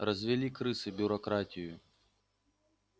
развели крысы бюрократию